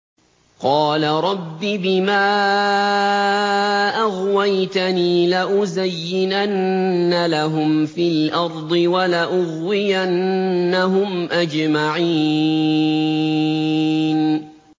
قَالَ رَبِّ بِمَا أَغْوَيْتَنِي لَأُزَيِّنَنَّ لَهُمْ فِي الْأَرْضِ وَلَأُغْوِيَنَّهُمْ أَجْمَعِينَ